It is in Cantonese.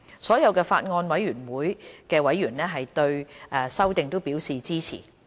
所有法案委員會的委員對修訂都表示支持。